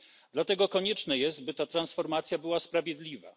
Dlatego konieczne jest, by ta transformacja była sprawiedliwa.